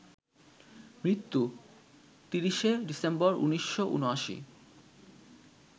মৃত্যু ৩০শে ডিসেম্বর, ১৯৭৯